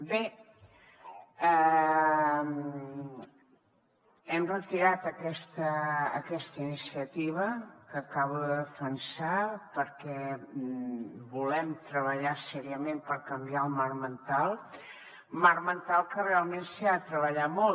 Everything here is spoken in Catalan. bé hem retirat aquesta iniciativa que acabo de defensar perquè volem treballar seriosament per canviar el marc mental marc mental que realment s’ha de treballar molt